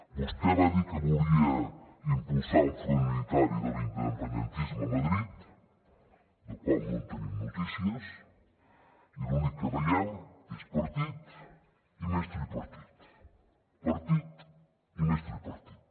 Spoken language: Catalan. vostè va dir que volia impulsar un front unitari de l’independentisme a madrid del qual no tenim notícies i l’únic que veiem és partit i més tripartit partit i més tripartit